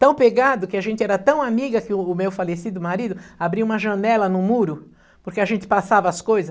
Tão pegado que a gente era tão amiga que o meu falecido marido abriu uma janela no muro, porque a gente passava as coisas.